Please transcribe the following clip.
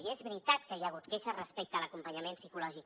i és veritat que hi ha hagut queixes respecte a l’acompanyament psicològic